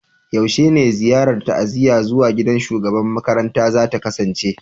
Yaushe ne ziyarar ta'aziyya zuwa gidan shugaban makarantan za ta kasance?